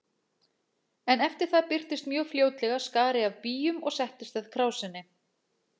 En eftir það birtist mjög fljótlega skari af býjum og settist að krásinni.